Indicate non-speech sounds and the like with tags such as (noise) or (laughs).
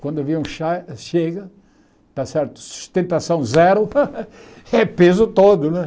Quando o avião cha chega, está certo sustentação zero, (laughs) é peso todo né.